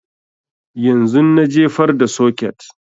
Yanzun na jefar da soket